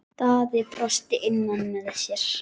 Daði brosti innra með sér.